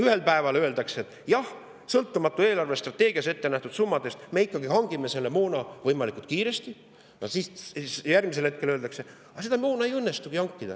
Ühel päeval öeldakse, et jah, sõltumatus eelarvestrateegias ettenähtud summadest me ikkagi hangime selle moona võimalikult kiiresti, aga järgmisel hetkel öeldakse, et aga seda moona ei õnnestugi hankida.